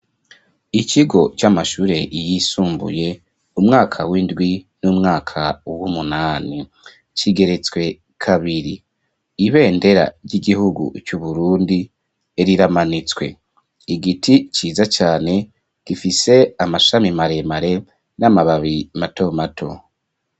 Ikigo, c'amashure yisumbuye, umwaka w'indwi, n'umwaka w'umunani; kigeretswe kabiri; ibendera ry'igihugu c'Uburundi, riramanitswe; igiti ciza cane, gifise amashami maremare, n'amababi mato mato.